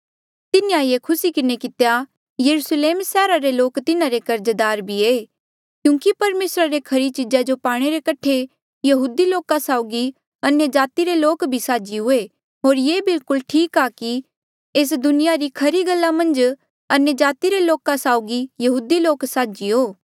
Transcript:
तिन्हें ये खुसी किन्हें कितेया यरुस्लेम सैहरा रे लोक तिन्हारे कर्जदार भी ऐें क्यूंकि परमेसरा ले खरी चीजा जो पाणे रे कठे यहूदी लोका साउगी अन्यजाति रे लोक भी साझी हुए होर ये बिलकुल ठीक आ कि एस दुनिया री खरी गल्ला मन्झ अन्यजाति रे लोक साउगी यहूदी लोक साझी हो